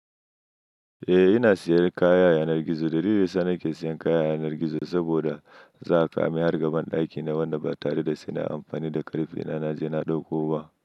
Eh, ina siyan kaya yanar gizo. Dalili sa ni ke siyan kaya yanar gizo, saboda za ka mi har ga banɗaki na, wanda ba tare da sina amfani da ƙarfe, na na je na ɗauko ba.